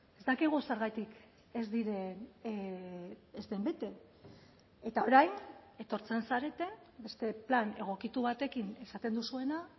ez dakigu zergatik ez diren ez den bete eta orain etortzen zarete beste plan egokitu batekin esaten duzuena